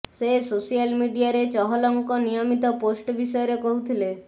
ସେ ସୋସିଆଲ ମିଡିଆରେ ଚହଲଙ୍କ ନିୟମିତ ପୋଷ୍ଟ ବିଷୟରେ କହୁଥିଲେ